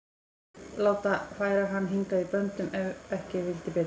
Láta færa hann hingað í böndum ef ekki vildi betur.